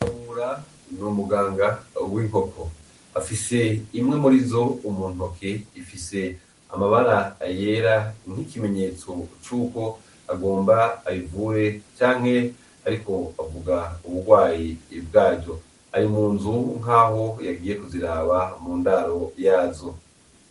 Kabura ni umuganga w'inkoko, afise imwe murizo mu ntoki, ifise amabara yera nk'ikimenyetso cuko agomba ayivure canke ariko avuga ubugwayi bwayo, ari mu nzu nkaho yagiye kuziraba mu ndaro yazo